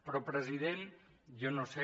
però president jo no sé